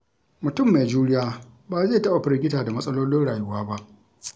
Mutum mai juriya ba zai taɓa firgita da matsalolin rayuwa ba.